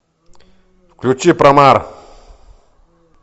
включи промар